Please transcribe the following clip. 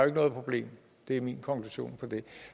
ikke noget problem det er min konklusion på det